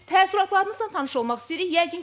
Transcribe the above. Təəssüratlarınızla tanış olmaq istəyirik.